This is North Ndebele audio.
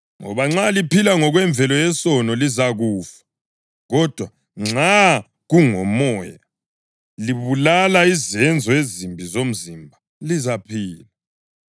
Ngoba nxa liphila ngokwemvelo yesono, lizakufa; kodwa nxa kungoMoya libulala izenzo ezimbi zomzimba, lizaphila,